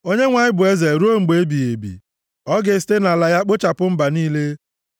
Onyenwe anyị bụ eze ruo mgbe ebighị ebi. Ọ ga-esite nʼala ya kpochapụ mba niile.